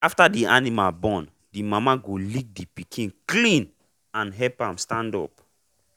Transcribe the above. after the animal born the mama go lick the pikin clean and help am stand up.